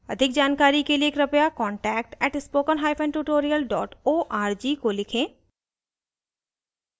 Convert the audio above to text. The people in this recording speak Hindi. अधिक जानकारी के कृपया contact @spokentutorial org को लिखें